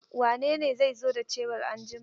Wanene zai zo da shebur anjima?